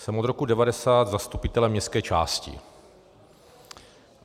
Jsem od roku 1990 zastupitelem městské části.